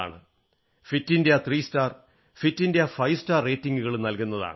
fit India three star fit India five star റേറ്റിംഗുകളും നല്കുന്നതാണ്